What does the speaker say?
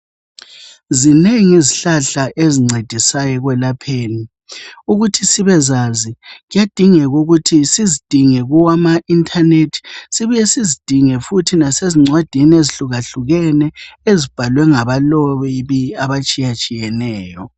Zinengi izihlahla esincedisayo ekwelapheni. Ukuthi sibezazi, kuyadingeka ukuthi sizidinge kumaintanethi sibuye sizidinge futhi lasezincwadini ezihlukahlukene ezibhalwe ngabalobi abatshiyneyo.